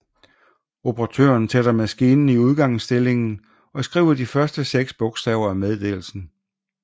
Operatøren sætter maskinen i udgangsindstillingen og skriver de første seks bogstaver af meddelelsen